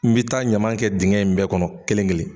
N bɛ taa ɲaman kɛ dingɛ in bɛɛ kɔnɔ kelen kelen.